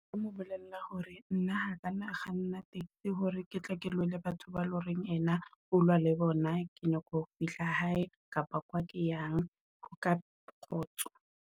Nka mo bolella hore na a ka nna kganna taxi hore ke tle ke lwane le batho ba le horeng ena, o lwa le bona ke nyaka ho fihla hae kapa kwa ke yang ka kgotso.